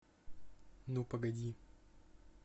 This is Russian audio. ну погоди